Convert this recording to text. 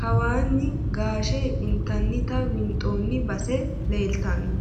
kawaani gaashe intannita winxooni base leeltanno.